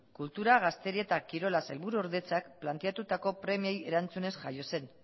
kultura gazteria eta kirola sailburuordetzak planteatutako premiei erantzunez jaio zen